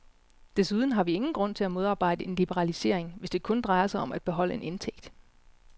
Desuden har vi ingen grund til at modarbejde en liberalisering, hvis det kun drejer sig om at beholde en indtægt.